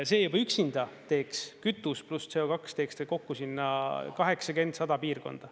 See juba üksinda teeks, kütus pluss CO2 teeks kokku sinna 80–100 piirkonda.